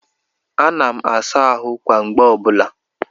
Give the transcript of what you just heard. Ana m asa ahụ kwa mgbede ọbụla